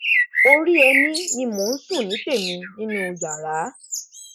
orí ẹni ni mò ń sùn ní tèmi nínú yàrá